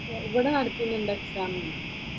ഇവിടെ നടത്തുന്നുണ്ടോ എക്സാമ്മ്?